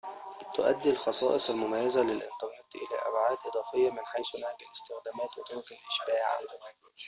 تؤدي الخصائص المميزة للإنترنت إلى أبعاد إضافية من حيث نهج الاستخدامات وطرق الإشباع